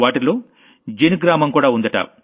వాటిలో జిన్ గారి గ్రామం కూడా ఉందట